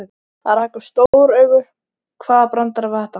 Hann rak upp stór augu, hvaða brandari var þetta?